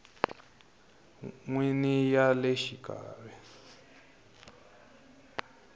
n wini ya le xikarhi